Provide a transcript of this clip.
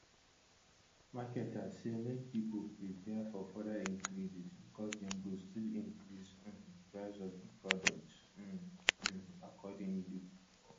marketers say make pipo prepare for further increases becos dem go still increase um di price of di products um um accordingly